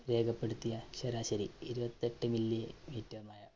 രേഖപ്പെടുത്തിയ ശരാശരി ഇരുപത്തെട്ട് millimeter മഴ.